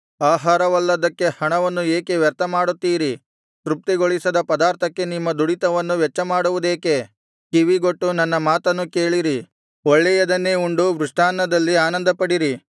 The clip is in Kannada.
ಆಹಾರವಲ್ಲದ್ದಕ್ಕೆ ಹಣವನ್ನು ಏಕೆ ವ್ಯರ್ಥ ಮಾಡುತ್ತೀರಿ ತೃಪ್ತಿಗೊಳಿಸದ ಪದಾರ್ಥಕ್ಕೆ ನಿಮ್ಮ ದುಡಿತವನ್ನು ವೆಚ್ಚಮಾಡುವುದೇಕೆ ಕಿವಿಗೊಟ್ಟು ನನ್ನ ಮಾತನ್ನು ಕೇಳಿರಿ ಒಳ್ಳೆಯದನ್ನೇ ಉಂಡು ಮೃಷ್ಟಾನ್ನದಲ್ಲಿ ಆನಂದಪಡಿರಿ